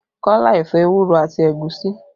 Kọ́lá ẹ̀fọ́ ewúro àti ẹ̀gúsí